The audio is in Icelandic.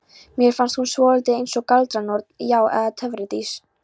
Mér fannst hún svolítið eins og galdranorn, já eða töfradís.